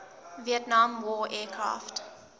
vietnam war aircraft